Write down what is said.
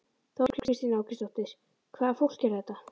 Þóra Kristín Ásgeirsdóttir: Hvaða fólk er þetta?